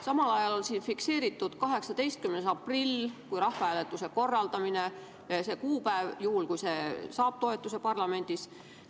Samal ajal on siin fikseeritud 18. aprill kui rahvahääletuse korraldamise kuupäev, juhul kui see saab parlamendis toetuse.